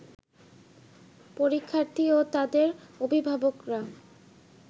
পরীক্ষার্থী ও তাদের অভিভাবকরা